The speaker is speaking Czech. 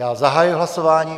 Já zahajuji hlasování.